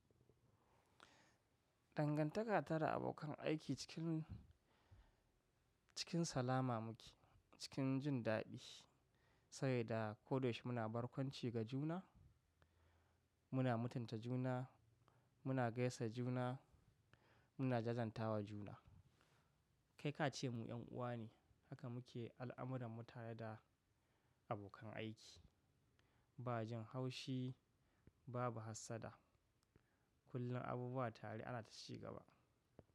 Dangantaka ta da abokan aiki cikin, cikin salama muke, cikin jin daɗi. Saboda ko da yaushe muna barkwanci ga juna, muna mutunta juna, muna gaisa juna, muna jajantawa juna. Kai ka ce mu 'yan uwa ne, haka muke al'amuran mu tare da abokan aiki. Ba jin haushi, babu hassada. Kullum abubuwa tare ana ta ci gaba.